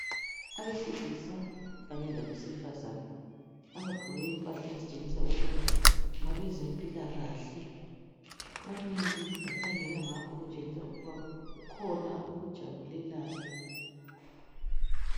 Abesilisa kanye labesifazana abagqoke impahla ezitshengisa ukuba ngabezempilakahle, bamile bakhangela ngapha okutshengisa ukuba kukhona abakujabulelayo.